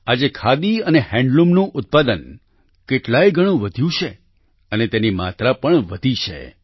આજે ખાદી અને હેન્ડલૂમનું ઉત્પાદન કેટલાય ગણું વધ્યું છે અને તેની માગ પણ વધી છે